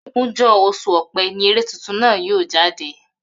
Ogúnjó̩ os̩ù O̩pé̩ ní eré tuntun náà yóò jáde